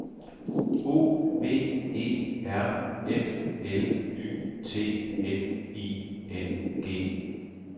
O V E R F L Y T N I N G